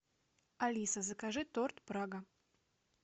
алиса закажи торт прага